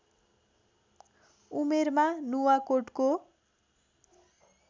उमेरमा नुवाकोटको